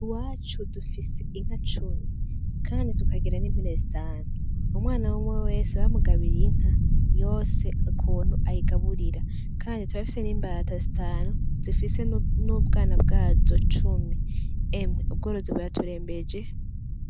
Iwacu dufise inka cumi kandi tukagira n'impene zitanu, umwana umwe wese bamugabiye inka yose ukuntu ayigaburira kandi turafise n'imbata zitanu zifise n'ubwana bwazo cumi, emwe ubworozi buraturembeje.